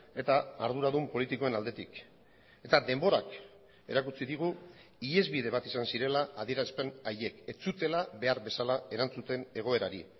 eta arduradun politikoen aldetik eta denborak erakutsi digu ihesbide bat izan zirela adierazpen haiek ez zutela behar bezala erantzuten egoerari